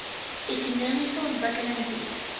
ekonomiese ontwikkeling bied